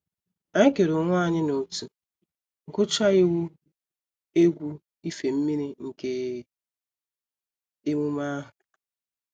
Anyị kere onwe anyị n’ọ̀tụ̀, gụchaa iwu egwu ife mmiri nke emume ahụ